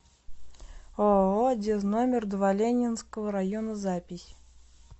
ооо дез номер два ленинского района запись